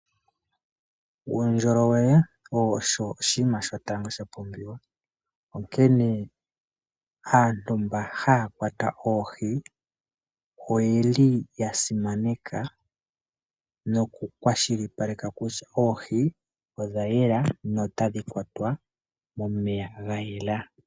Uundjolowele owo oshinima shotango shapumbiwa. Onkene aantu mba haya kwata oohi oyeli yasimaneka nokukwashilipaleka kutya oohi odhayela notadhi kwatwa momeya gayela.